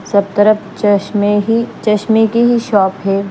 सब तरफ चश्मे ही चश्मे की ही शॉप है।